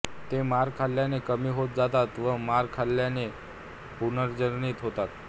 ते मार खाल्ल्याने कमी होत जातात व मार न खाल्ल्याने पुनर्जनित होतात